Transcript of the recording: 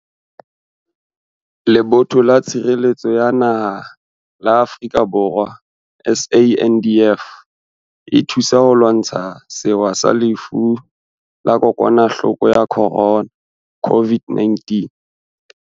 Lebotho la Tshireletso ya Naha la Afrika Borwa, SANDF, e thusa ho lwantsha sewa sa Lefu la Kokwa nahloko ya Corona, COVID-19.